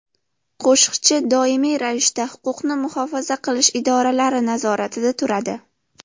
Qo‘shiqchi doimiy ravishda huquqni muhofaza qilish idoralari nazoratida turadi.